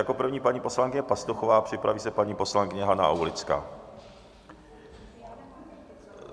Jako první paní poslankyně Pastuchová, připraví se paní poslankyně Hana Aulická.